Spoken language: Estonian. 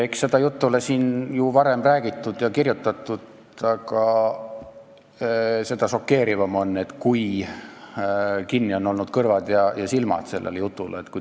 Eks seda juttu ole ju varemgi räägitud ja kirjutatud, aga seda šokeerivam on, kui kinni on sellele jutule olnud kõrvad ja silmad.